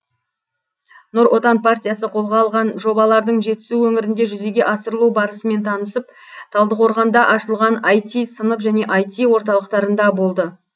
нұр отан партиясы қолға алған жобалардың жетісу өңірінде жүзеге асырылу барысымен танысып талдықорғанда ашылған іт сынып және іт орталықтарында болды